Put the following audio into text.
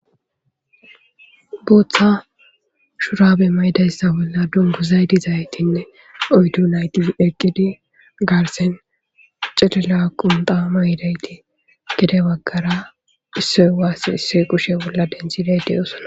Bota shurabe ma'idaysa bola dinguza diyizaytne oydu nati eqid garsan chilllo qunta ma'idayt pudebagara isoyi wasin isoyi kushe bola dantday de'osona.